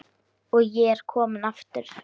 Og ég er kominn aftur!